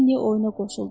Lenni oyuna qoşuldu.